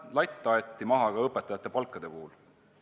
Latt aeti maha ka õpetajate palga puhul.